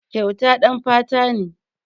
Kyauta ɗan fata ne.